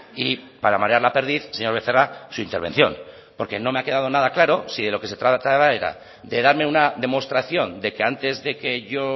y para marear la perdiz señor becerra su intervención porque no me ha quedado nada claro si de lo que se trataba era de darme una demostración de que antes de que yo